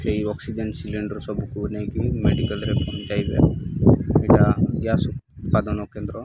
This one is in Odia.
ସେଇ ଅକ୍ସିଜେନ୍ ସିଲିଣ୍ଡର୍ ସବୁକୁ ନେଇକି ମେଡିକାଲ୍ ରେ ପହଞ୍ଚାଇବେ ଏଇଟା ଗ୍ୟାସେ ଉତ୍ପାଦନ କେନ୍ଦ୍ର।